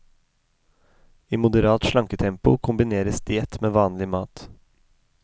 I moderat slanketempo kombineres diett med vanlig mat.